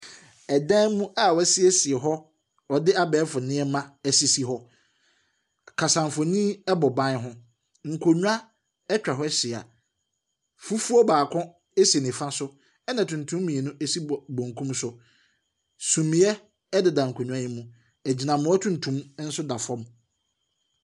Ɛdan mu a wɔasiesiw hɔ, wɔde abɔɔfo nneɛma asiesie hɔ. Kasamfoninbɔ ban ho. Nkonnwa atwa hɔ ahyia. Fufuo baako si nifa so, ɛnna tuntum mmienu si benkum so. Sumiiɛ deda nkonnwa yi mu. Agyinammoa tuntum nso da fam.